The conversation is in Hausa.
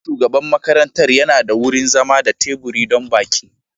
Ofishin shugaban makarantar yana da wurin zama da teburi don baƙi.